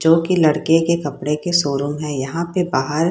जो कि लड़के के कपड़े के शोरूम है यहाँ पे बाहर --